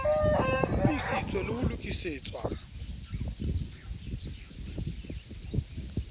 e qotsitswe le ho lokisetswa